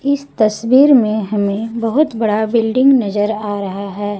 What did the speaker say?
इस तस्वीर में हमें बहुत बड़ा बिल्डिंग नजर आ रहा है।